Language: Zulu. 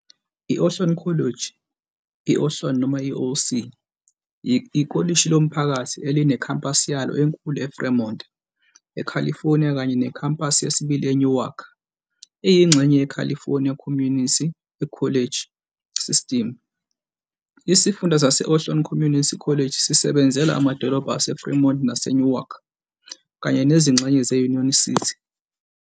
I-Ohlone College, i- Ohlone noma i- OC, ikolishi lomphakathi elinekhampasi yalo enkulu eFremont, eCalifornia kanye nekhampasi yesibili eNewark. Iyingxenye yeCalifornia Community College System. Isifunda sase-Ohlone Community College sisebenzela amadolobha aseFremont naseNewark, kanye nezingxenye ze- Union City.